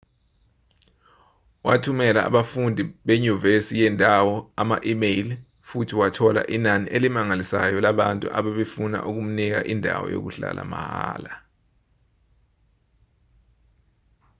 wathumela abafundi benyuvesi yendawo ama-imeyili futhi wathola inani elimangalisayo labantu ababefuna ukumnika indawo yokuhlala mahhala